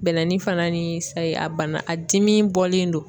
Bɛlɛnin fana ni sayi a banna a dimi bɔlen don.